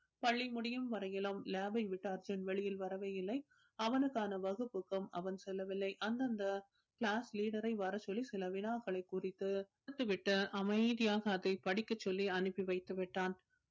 பள்ளி முடியும் வரையிலும் lab ஐ விட்டு அர்ஜுன் வெளியில் வரவே இல்லை அவனுக்கான வகுப்புக்கும் அவன் செல்லவில்லை அந்தந்த class leader ஐ வரச் சொல்லி சில வினாக்களை குறித்து குறித்து விட்டு அமைதியாக அதை படிக்கச் சொல்லி அனுப்பி வைத்துவிட்டான்